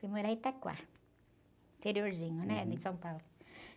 Fui morar em, interiorzinho de São Paulo.